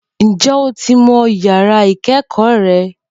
Ǹjẹ́ o ti mo ìyàrá ìkẹẹkọ rẹ?